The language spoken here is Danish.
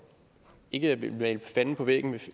ikke at jeg vil male fanden på væggen